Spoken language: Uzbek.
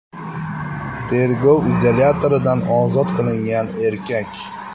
Tergov izolyatoridan ozod qilingan erkak.